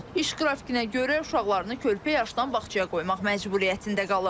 İş qrafikinə görə uşaqlarını körpə yaşdan bağçaya qoymaq məcburiyyətində qalıb.